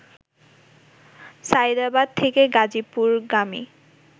সায়েদাবাদ থেকে গাজীপুরগামী